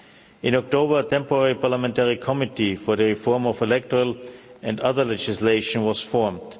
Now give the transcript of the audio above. In October a temporary parliamentary committee for the reform of electoral and other legislation was formed.